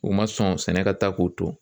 U ma sɔn sɛnɛ ka taa k'u to